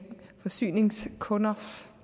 forsyningskunders